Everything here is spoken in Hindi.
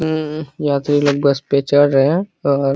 हमम यात्री लोग बस पर चढ़ रहे है और --